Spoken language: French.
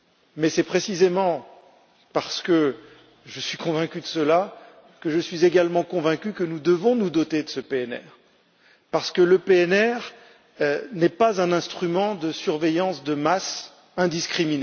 Mais c'est précisément parce que je suis convaincu de cela que je suis également convaincu que nous devons nous doter de ce PNR, parce qu'il n'est pas un instrument de surveillance de masse indistincte.